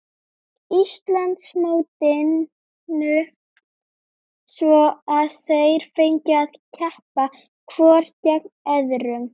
Íslandsmótinu svo að þeir fengju að keppa hvor gegn öðrum.